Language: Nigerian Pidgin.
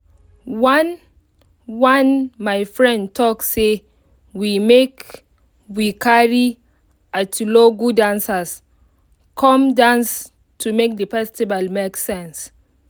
one one my friend talk say make we carry atilogwu dancers come dance to make the festival make sense